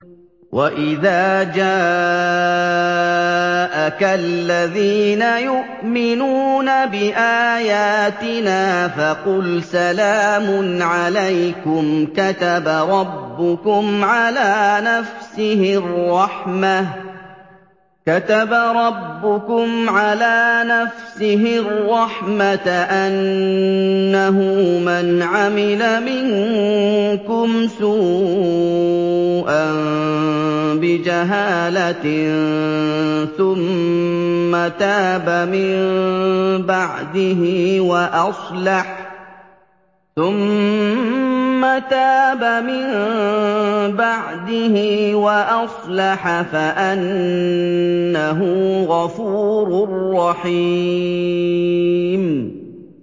وَإِذَا جَاءَكَ الَّذِينَ يُؤْمِنُونَ بِآيَاتِنَا فَقُلْ سَلَامٌ عَلَيْكُمْ ۖ كَتَبَ رَبُّكُمْ عَلَىٰ نَفْسِهِ الرَّحْمَةَ ۖ أَنَّهُ مَنْ عَمِلَ مِنكُمْ سُوءًا بِجَهَالَةٍ ثُمَّ تَابَ مِن بَعْدِهِ وَأَصْلَحَ فَأَنَّهُ غَفُورٌ رَّحِيمٌ